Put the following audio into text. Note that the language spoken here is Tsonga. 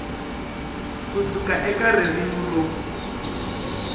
ku suka eka ririmi ro